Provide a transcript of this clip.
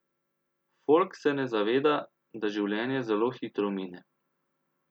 Folk se ne zaveda, da življenje zelo hitro mine.